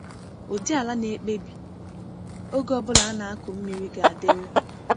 Ụdị ala na-ekpebi oge ọ bụla a na-akụ mmiri ga-adịru.